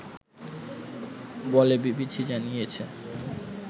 বলে বিবিসি জানিয়েছে